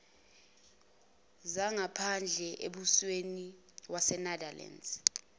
zangaphandle embusweni wasenetherlands